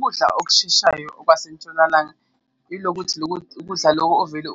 Ukudla okusheshayo okwase ntshonalanga yilokuthi ukudla loko ovele